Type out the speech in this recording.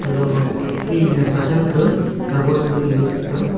gama mih naosa than ka kagos gam les taiga.